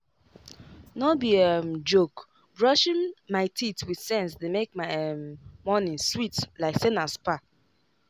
no be um joke brushing my teeth with sense dey make my um morning sweet like say na spa.